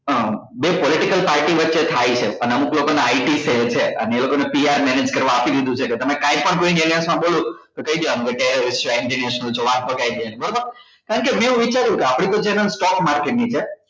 અ બે political party વચ્ચે થાય છે અને અમુક લોકો ને છે અને એ લોકો ને PRmanage કરવા આપી દીધું છે કે તમે કાઈ પણ language માં બોલો તો કઈ દેવા નું કે terrorist છે વાત માં કઈ દેવા નું બરાબર કારણ કે મેં એવું વિચાર્યું કે આપડી તો channel stock market ની છે